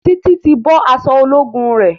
Titi tí bó aṣọ ológun re.